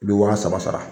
I bɛ waa saba sara